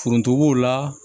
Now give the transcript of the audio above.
Foronto b'o la